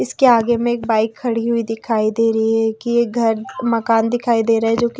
इसके आगे में एक बाइक खड़ी हुई दिखाई दे रहीं है की एक घर मकान दिखाई दे रहा है जो की--